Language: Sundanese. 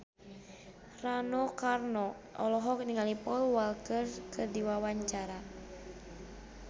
Rano Karno olohok ningali Paul Walker keur diwawancara